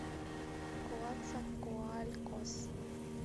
коацакоалькос